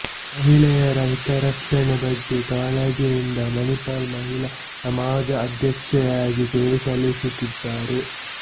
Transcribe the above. ಮಹಿಳೆಯರ ಹಿತರಕ್ಷಣೆ ಬಗ್ಗೆ ಕಾಳಜಿಯಿಂದ ಮಣಿಪಾಲ್ ಮಹಿಳಾ ಸಮಾಜ ಅಧ್ಯಕ್ಷೆಯಾಗಿ ಸೇವೆಸಲ್ಲಿಸುತ್ತಿದ್ದಾರೆ